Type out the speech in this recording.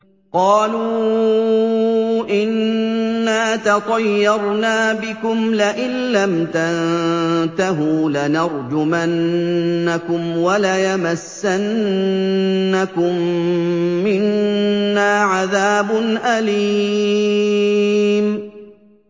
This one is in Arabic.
قَالُوا إِنَّا تَطَيَّرْنَا بِكُمْ ۖ لَئِن لَّمْ تَنتَهُوا لَنَرْجُمَنَّكُمْ وَلَيَمَسَّنَّكُم مِّنَّا عَذَابٌ أَلِيمٌ